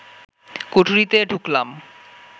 কুঠুরিতে ঢুকলাম